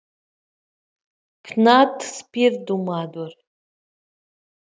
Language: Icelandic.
Jóhannes: Ertu að fara að kaupa þér?